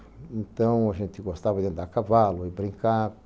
Então, a gente gostava de andar a cavalo e brincar.